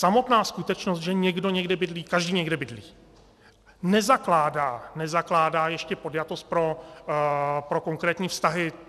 Samotná skutečnost, že někdo někde bydlí, každý někde bydlí, nezakládá ještě podjatost pro konkrétní vztahy.